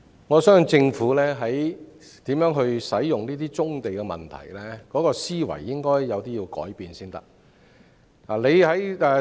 我相信政府在如何使用棕地的問題上，應有思維上的改變。